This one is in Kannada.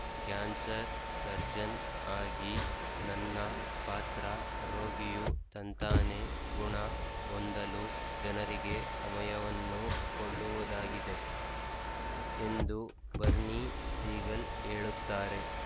ಕ್ಯಾನ್ಸರ್ ಸರ್ಜನ್ ಆಗಿ ನನ್ನ ಪಾತ್ರ ರೋಗಿಯು ತಂತಾನೆ ಗುಣ ಹೊಂದಲು ಜನರಿಗೆ ಸಮಯವನ್ನು ಕೊಳ್ಳುವುದಾಗಿದೆ ಎಂದು ಬರ್‌ನಿ ಸೀಗಲ್ ಹೇಳುತ್ತಾರೆ